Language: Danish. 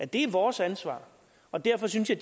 det er vores ansvar og derfor synes jeg